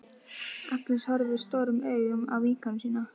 Agnes horfir stórum augum á vinkonu sína.